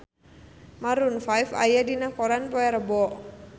Maroon 5 aya dina koran poe Rebo